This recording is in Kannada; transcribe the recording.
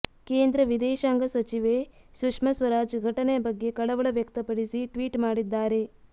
ಕೇಂದ್ರ ವಿದೇಶಾಂಗ ಸಚಿವೆ ಸುಶ್ಮಾ ಸ್ವರಾಜ್ ಘಟನೆ ಬಗ್ಗೆ ಕಳವಳ ವ್ಯಕ್ತಪಡಿಸಿ ಟ್ವೀಟ್ ಮಾಡಿದ್ದಾರೆ